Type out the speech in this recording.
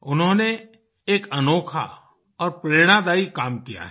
उन्होंने एक अनोखा और प्रेरणादायी काम किया है